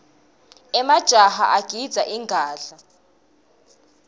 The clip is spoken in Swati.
wemajaha agidza ingadla